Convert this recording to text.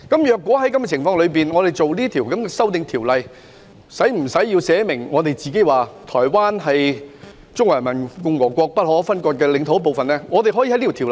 在這種情況下，我們制定《條例草案》時，是否需要訂明台灣是中華人民共和國不可分割的領土的一部分？